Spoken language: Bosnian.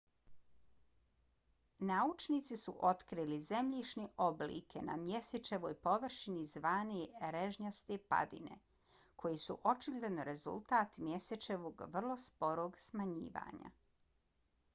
naučnici su otkrili zemljišne oblike na mjesečevoj površini zvane režnjaste padine koje su očigledno rezultat mjesečevog vrlo sporog smanjivanja